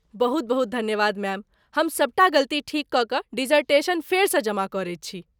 बहुत बहुत धन्यवाद मैम, हम सबटा गलती ठीक कऽ कऽ डिसर्टेशन फेरसँ जमा करैत छी।